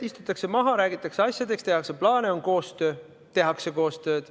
Istutakse maha, räägitakse asjadest, tehakse plaane – juba see on koostöö, tehakse koostööd.